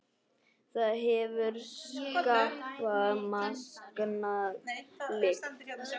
Það hefur skarpa, megna lykt.